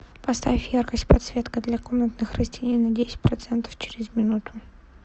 поставь яркость подсветка для комнатных растений на десять процентов через минуту